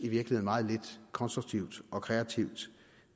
meget lidt konstruktivt og kreativt